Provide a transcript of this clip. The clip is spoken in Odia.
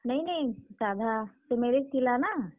ନାଇଁ, ନାଇଁ ସାଧା ସେ marriage ଥିଲା ନାଁ!